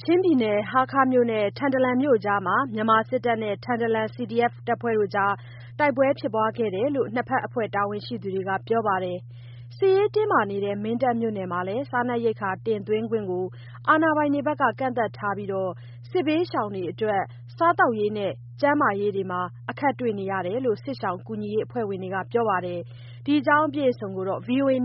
ချင်းပြည်နယ် ဟားခါးနဲ့ထန်တလန်မြို့အကြားမှာ မြန်မာစစ်တပ်နဲ့ထန်တလန် CDF တို့ တိုက်ပွဲဖြစ်ပွါးခဲ့တယ်လို့ နှစ်ဘက်အဖွဲ့ တာဝန် ရှိသူတွေက ပြောပါတယ်။ စစ်ရေးတင်းမာနေတဲ့မင်းတပ်မြို့နယ်မှာလည်း ဆန်ရိက္ခာတင်သွင်းခွင့်ကို အာဏာပိုင်တွေက ကန့်သတ်ထားပြီး စစ်ဘေးရှောင်တွေအတွက် စားသောက်ရေးနဲ့ကျန်းမာရေးတွေမှာ အခက်တွေ့နေရတယ်လို့ စစ်ရှောင်ကူညီရေးအဖွဲ့ဝင်တွေက ပြောပါတယ်။ ဒီအခြေအနေကို ထိုင်းအခြေစိုက်၊ ဗွီအိုအေသ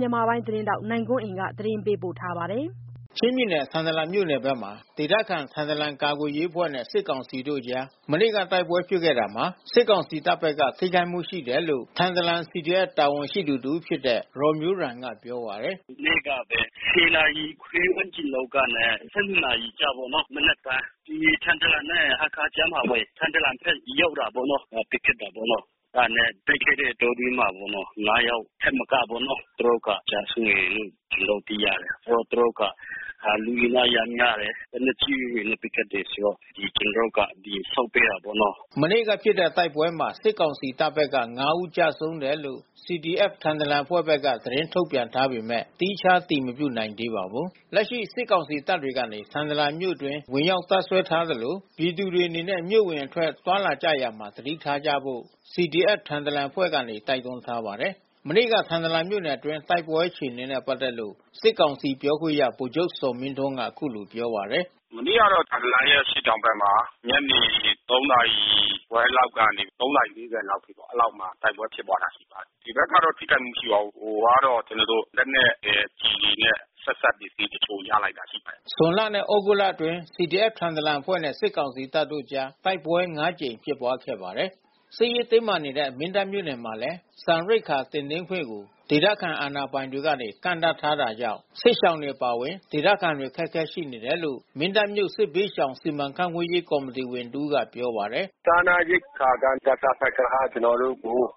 တင်းထောက် နိုင်ကွန်းအိန်က တင်ပြပေးထားပါတယ်။ ချင်းပြည်နယ် ထန်တလန်မြို့နယ်ဘက်မှာ ဒေသခံ ထန်တလန်ကာကွယ်ရေးအဖွဲ့နဲ့စစ်ကောင်စီတပ်တို့အကြား မနေ့ကတိုက်ပွဲဖြစ်ပွါးခဲ့တာမှာ စစ်ကောင်စီတပ်ဘက်က ထိခိုက်မှုရှိတယ်လို့ ထန်တလန် CDF တာဝန်ရှိသူတဦးဖြစ်တဲ့ ရော်မျိုးရမ်က ပြောပါတယ်။ “မနေ့ကပဲ နာရီခွဲ ဝန်းကျင်လောက်ကနဲ့ နာရီ ကြားပေါ့နော် မနက်ပိုင်း။ဒီထန်တလန်နဲ့ဟားခါးကြားမှာပဲ။ ထန်တလန်ဘက် ရောက်တာပေါ့နော်။ ပစ်ခတ်တာပေါ့နော်။ အဲတာနဲ့တိုက်ခိုက်တဲ့အတောအတွင်းမှာပေါ့နော်။ ယောက်ထက်မကပေါ့နော် သူတို့က ကျဆုံးတယ်လို့ ကျနော်တို့သိရတယ်။သူတို့ကလူအင်အားအရမ်းများတယ်။ လက်နက်ကြီးတွေနဲ့ပစ်ခတ်တယ်ဆိုတော့ကျနော်တို့က ဆုတ်ပေးတယ်ပေါ့နော်။” မနေ့ကဖြစ်တဲ့တိုက်ပွဲမှာ စစ်ကောင်စီတပ်ဘက်က ဦးကျဆုံးတယ်လို့ CDF ထန်တလန်အဖွဲ့က သတင်းထုတ်ပြန်ထားပေမဲ့ သီးခြား အတည်မပြုနိုင်သေးပါဘူး။ လက်ရှိ စစ်ကောင်စီတပ်တွေကနေ ထန်တလန်မြို့အတွင်းဝင်ရောက်တပ်စွဲထားသလို ပြည်သူတွေအနေနဲ့ မြို့အဝင်အထွက် သွားလာကြရာမှာ သတိထားကြဖို့ CDF ထန်တလန်အဖွဲ့ကနေ တိုက်တွန်းထားပါတယ်။ မနေ့က ထန်တလန်မြို့နယ်အတွင်းတိုက်ပွဲအခြေအနေနဲ့ပက်သက်လို့ စစ်ကောင်စီပြောခွင့်ရ ဗိုလ်ချုပ်ဇော်မင်းထွန်း က အခုလိုပြောပါတယ်။ "မနေ့ကတော့ ထန်တလန်ရဲ့အရှေ့တောင်ဘက်မှာ ညနေ နာရီခွဲလောက်ကနေ နာရီ အထိပေါ့၊ အဲဒီလောက်မှာ တိုက်ပွဲဖြစ် ပွါးတာ ရှိပါတယ်။ ဒီဘက်ကတော့ ထိခိုက်မှုမရှိပါဘူး။ ဟိုကတော့ ကျနော်တို့လက်နက်ရယ်ကျည်တွေနဲ့ ဆက်စပ်ပစ္စည်းတချို့ ရလိုက်တာရှိပါတယ်။" ဇွန်လနဲ့သြဂုတ်အတွင်း CDF ထန်တလန်အဖွဲ့နဲ့စစ်ကောင်စီတပ်အကြားတိုက်ပွဲ ကြိမ်ဖြစ်ပွါးခဲ့ပါတယ်။ စစ်ရေးတင်းမာနေတဲ့ မင်းတပ် မြို့နယ်မှာလည်း ဆန်ရိက္ခာတင်သွင်းခွင့်ကို ဒေသခံအာဏာပိုင်တွေက ကန့်သတ်ထားတာကြောင့် စစ်ရှောင်တွေအပါအဝင် ဒေသခံတွေ အခက်အခဲရှိနေတယ်လို့ မင်းတပ်မြို့စစ်ဘေးရှောင်စီမံခန့်ခွဲရေး ကော်မီတီဝင်တဦးက ပြောပါတယ်။ “စားနပ်ရိက္ခာက စကစဘက်က ကျနော်တို့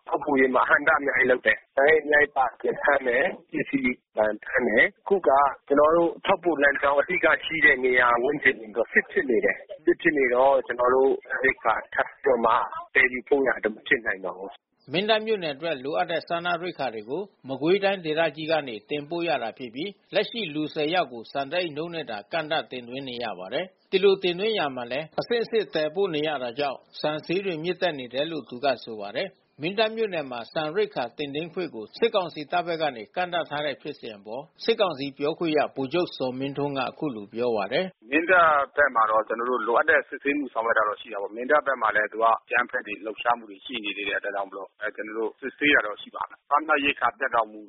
ထောက်ပို့ရေးမှာ အဟန့်အတားအများကြီးလုပ်တယ်။ ဆန်အိတ် အများကြီးပါတယ်ဆို ဖမ်းတယ်။ ပစ္စည်းပါရင်ဖမ်းတယ်။ အခုက ကျနော်တို့ထောက်ပို့လမ်းကြောင်း အဓိကရှိတဲ့နေရာဝန်းကျင်ဘက် စစ်ဖြစ်နေတယ်။ စစ်ဖြစ်နေတော့ ကျနော်တို့ ရိက္ခာထပ်ပြီးတော့ သယ်ယူပို့နိုင်ဖို့ မဖြစ်နိုင်တော့ဘူး။” မင်းတပ်မြို့နယ်အတွက် လိုအပ်တဲ့ စားနပ်ရိက္ခာတွေကို မကွေးတိုင်းဒေသကြီးကနေ တင်ပို့ရတာဖြစ်ပြီး လက်ရှိလူ ယောက်ကို ဆန်တအိတ်နှုန်းနဲ့သာ ကန့်သတ် တင်သွင်းနေရပါတယ်။ ဒီလိုတင်သွင်းရာမှာလည်း အဆင့်ဆင်သယ်ပို့နေရတာကြောင့် ဆန်ဈေးတွေ မြင့်တက်နေတယ်လို့ သူကဆိုပါတယ်။ မင်းတပ်မြို့နယ်မှာ ဆန်ရိက္ခာတင်သွင်းခွင့်ကို စစ်ကောင်စီတပ်ဘက်ကနေ ကန့်သတ်ထားတဲ့ဖြစ်စဉ်အပေါ် စစ်ကောင်စီပြောခွင့်ရ ဗိုလ်ချုပ် ဇော်မင်းထွန်းကအခုလိုပြောပါတယ်။ "မင်းတပ်ဘက်မှာတော့ ကျနော်တို့ လိုအပ်တဲ့စစ်ဆေးမှု ဆောင်ရွက်တာတော့ရှိတာပေါ့။ မင်းတပ်ဘက်မှာလည်း သူက အကြမ်းဖက် ဆောင်ရွက်မှုတွေ ရှိနေသေးတဲ့အတွက်ကြောင့်မို့လို့ ကျနော်တို့စစ်ဆေးတာတော့ရှိပါတယ်။ စားနပ် ရိက္ခာဖြတ်တောက်မှု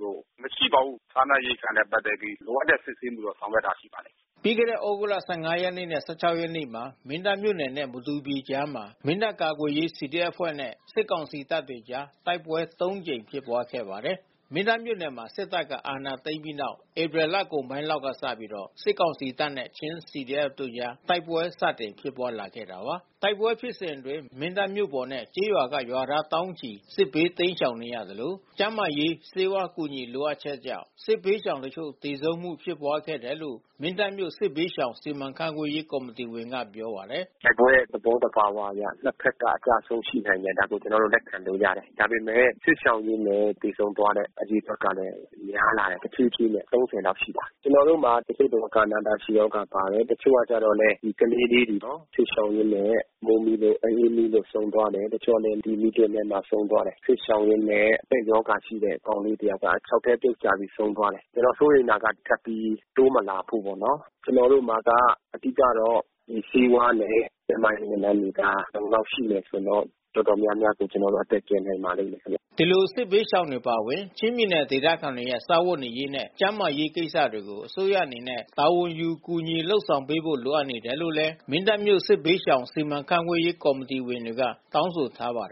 မရှိပါဘူး။ စားနပ်ရိက္ခာနဲ့ပက်သက်ပြီး လိုအပ်တဲ့စစ်ဆေးမှုတော့ဆောင်ရွက်တာရှိပါတယ်။" ပြီးခဲ့တဲ့သြဂုတ်လ ရက်နဲ့ ရက်နေ့မှာ မင်းတပ်နဲ့မတူပီကြားမှာ မင်းတပ်ကာကွယ်ရေး CDF အဖွဲ့နဲ့ စစ်ကောင်စီ တပ်တွေအကြား တိုက်ပွဲ ကြိမ်ဖြစ်ပွါးခဲ့ပါတယ်။ မင်းတပ်မြို့နယ်မှာ စစ်တပ်က အာဏာသိမ်းပြီးနောက် ဧပြီလကုန်ပိုင်းလောက်ကစပြီး စစ်ကောင်စီတပ်နဲ့ ချင်း CDF တို့ကြား တိုက်ပွဲ စတင် ဖြစ်ပွားလာခဲ့တာပါ။ တိုက်ပွဲဖြစ်စဉ်အတွင်း မင်းတပ်မြို့ပေါ်နဲ့ကျေးရွာကရွာသားသောင်းချီစစ်ဘေးတိမ်းရှောင်နေရသလို ကျန်းမာရေး ဆေးဝါး အကူညီလိုအပ်ချက်ကြောင့် စစ်ဘေးရှောင်တချို့ သေဆုံးမှုဖြစ်ပွါးခဲ့တယ်လို့ မင်းတပ်မြို့စစ်ဘေးရှောင်စီမံခန့်ခွဲရေး ကော်မီတီဝင်က ပြောပါတယ်။ “တိုက်ပွဲရဲ့သဘောသဘာဝအရ နှစ်ဖက်က အကျဆုံးရှိနိုင်တယ်။ ဒါကိုကျနော်တို့လက်ခံလို့ ရတယ်။ ဒါပေမဲ့ စစ်ရှောင်ရင်းနဲ့ သေဆုံးသွားတဲ့ အဖြစ်အပျက်ကလည်း တဖြည်းဖြည်းနဲ့ များလာတယ်။ လောက်ရှိလာတယ်။ ကျနော်တို့မှာ တချို့ကနာတာရှည်ရောဂါပါလာတယ်။ တချို့ကတော့လည်း ကလေးလေးတွေပေါ့နော်၊စစ်ရှောင်ရင်းနဲ့ မိုးမိလို့၊ အအေးမိလို့ ဆုံးသွားတယ်။ တချို့ကလည်း မီးတွင်းထဲမှာ ဆုံးသွား တယ်။ စစ်ရှောင်ရင်းနဲ့ အတက်ရောဂါရှိတဲ့ကောင်လေးတယောက်က ချောက်ထဲပြုတ်ကျပြီးဆုံးသွားတယ်။ ဆိုတော့စိုးရိမ်တာက ထပ်ပြီး တိုးမလာဖို့ပေါ့နော်။ကျနော်တို့မှာက အဓိကက ဆေးဝါးနဲ့ကျန်းမာရေးဝန်ထမ်းတွေ အလုံအလောက်ရှိမယ်ဆိုရင်တော့ တော်တော် များများကို အသက်ကယ်နိုင်ပါလိမ့်မယ်ခင်ဗျ။” ဒီလိုစစ်ဘေးရှောင်တွေအပါအဝင် ချင်းပြည်နယ်ဒေသခံတွေရဲ့ စားဝတ်နေရေးနဲ့ ကျန်းမာရေးကိစ္စတွေကို အစိုးရအနေနဲ့ တာဝန်ယူ ကူညီ လုပ်ဆောင်ပေးဖို့ လိုအပ်နေတယ်လို့လည်း မင်းတပ်မြို့စစ်ဘေးရှောင်စီမံခန့်ခွဲရေး ကော်မီတီဝင်တွေက တောင်းဆိုထားပါတယ်